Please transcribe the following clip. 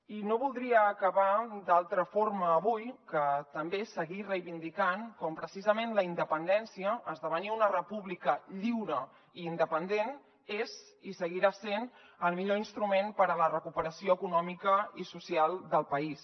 i no voldria acabar d’altra forma avui que també seguir reivindicant com preci·sament la independència esdevenir una república lliure i independent és i seguirà sent el millor instrument per a la recuperació econòmica i social del país